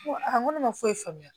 N ko n ko ne ma foyi faamuya